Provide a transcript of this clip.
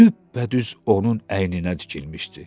Düppədüz onun əyninə tikilmişdi.